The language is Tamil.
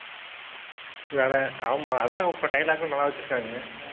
வேற. ஆமாம். அதான் இப்ப dialogue கும் நல்லா வெச்சுருக்காங்க.